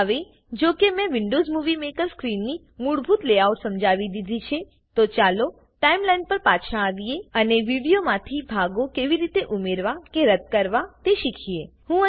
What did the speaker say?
હવે જો કે મેં વિન્ડોવ્ઝ મુવી મેકર સ્ક્રીનની મૂળભૂત લેઆઉટ સમજાવી દીધી છે તો ચાલો ટાઈમલાઈન પર પાછા આવીએ અને વિડીયોમાંથી ભાગો કેવી રીતે ઉમેરવા કે રદ્દ કરવા તે શીખીએ